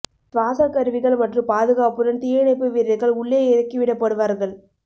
சுவாச கருவிகள் மற்றும் பாதுகாப்புடன் தீயணைப்பு வீரர்கள் உள்ளே இறக்கி விடப்படுவார்கள்